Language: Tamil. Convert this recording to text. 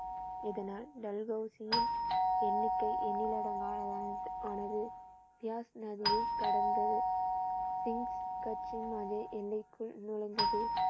இதனால் டல்ஹவுசியின் எண்ணிக்கை எண்ணிலடங்கானது. பியாஸ் நதியை கடந்து எல்லைக்குள் நுழைந்தது